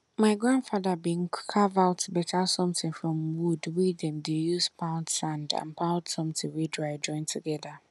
my grandfather bin carve out better somtin from wood wey dem dey use pound sand and pound somtin wey dry join together